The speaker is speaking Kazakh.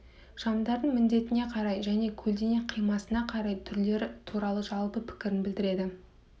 шамдардың міндетіне қарай және көлденең қимасына қарай түрлері туралы жалпы пікірін білдіреді